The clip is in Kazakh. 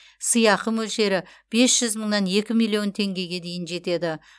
сыйақы мөлшері бес жүз мыңнан екі миллион теңгеге дейін жетеді